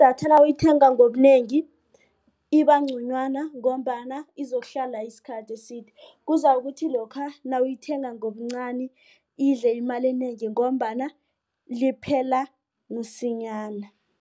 Idatha nawuyithenga ngobunengi ibangconywana ngombana izokuhlala isikhathi eside. Kuzakuthi lokha nawuyithenga ngobuncani idle imali enengi ngombana liphela msinyana.